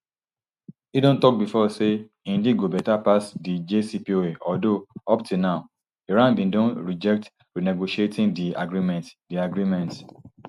im don tok bifor say im deal go better pass di jcpoa although up till now iran bin don reject renegotiating di agreement di agreement